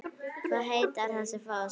Hvað heitir þessi foss?